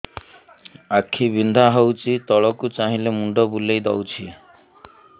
ଆଖି ବିନ୍ଧା ହଉଚି ତଳକୁ ଚାହିଁଲେ ମୁଣ୍ଡ ବୁଲେଇ ଦଉଛି